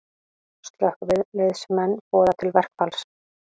Slökkviliðsmenn boða til verkfalls